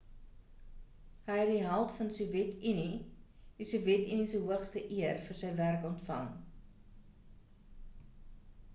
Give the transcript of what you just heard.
hy het die held van die sowjet unie die sowjet unie se hoogste eer vir sy werk ontvang